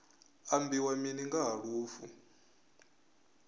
ambiwa mini nga ha lufu